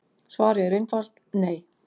Svarið er einfalt: Nei.